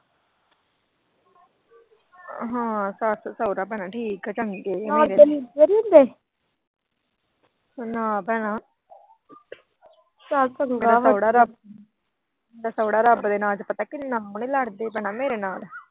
ਹਾਂ, ਸੱਸ ਸਹੁਰਾ ਭੈਣੇ ਠੀਕ ਆ। ਚੰਗੇ ਆ। ਨਾ ਭੈਣਾ। ਸਹੁਰਾ ਪਤਾ ਕਿੰਨਾ ਹੁਣ ਨੀ ਲੜਦੇ ਮੇਰੇ ਨਾਲ।